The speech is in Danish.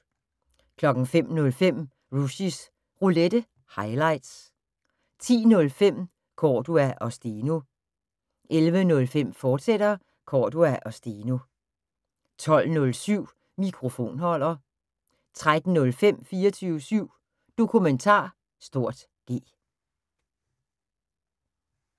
05:05: Rushys Roulette – highlights 10:05: Cordua & Steno 11:05: Cordua & Steno, fortsat 12:07: Mikrofonholder 13:05: 24syv Dokumentar (G)